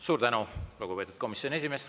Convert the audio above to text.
Suur tänu, lugupeetud komisjoni esimees!